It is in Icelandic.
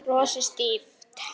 Ég brosi stíft.